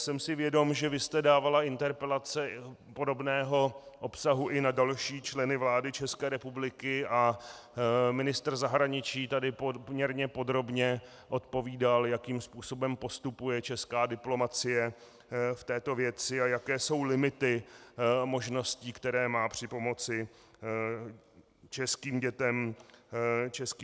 Jsem si vědom, že vy jste dávala interpelace podobného obsahu i na další členy vlády České republiky a ministr zahraničí tady poměrně podrobně odpovídal, jakým způsobem postupuje česká diplomacie v této věci a jaké jsou limity možností, které má při pomoci českým dětem v Norsku.